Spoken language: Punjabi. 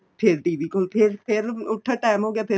ਫੇਰ TV ਕੋਲ ਫੇਰ ਫੇਰ ਉਠੋ time ਹੋ ਗਿਆ ਫੇਰ